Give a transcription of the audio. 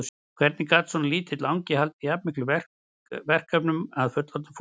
Hvernig gat svona lítill angi haldið jafn miklum verkefnum að fullorðnu fólki?